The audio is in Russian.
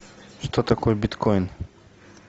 что такое биткоин